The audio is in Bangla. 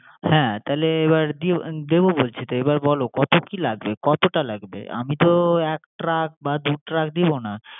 হ্যা, তাইলে এবার দিও দিবো বলছি তো, এবার কত কি লাগবে, কতটা লাগবে। আমি তো এক ট্রাক বা দু ট্রাক দিবো না